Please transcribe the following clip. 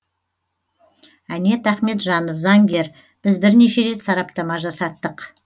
әнет ахметжанов заңгер біз бернеше рет сараптама жасаттық